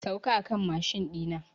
Sauka a kan mashin ɗi na!